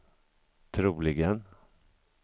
troligen